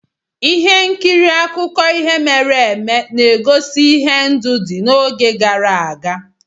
Ihe nkiri akụkọ ihe mere eme na-egosi ihe ndụ dị n'oge gara aga